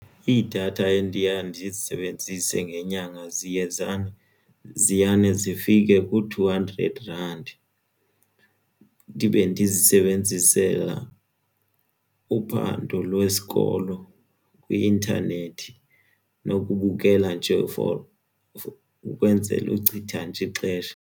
Iidatha endiya ndizisebenzise ngenyanga ziyane zifike ku-two hundred rand ndibe ndizisebenzisela uphando lwesikolo kwi-intanethi nokubukela nje for ukwenzela uchitha nje ixesha.